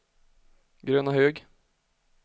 Grönahög